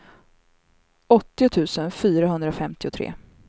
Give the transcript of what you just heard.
åttio tusen fyrahundrafemtiotre